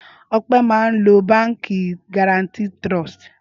Ọpẹ́ máa ń lo Báńkì Guaranty Trust.